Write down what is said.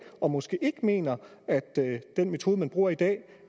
og måske ikke mener at den metode man bruger i dag